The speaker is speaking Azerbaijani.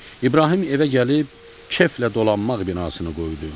İbrahim evə gəlib keflə dolanmaq binasını qoydu.